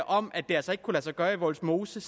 om at det altså ikke kunne lade sig gøre i vollsmose